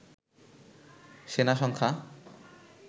সেনা সংখ্যা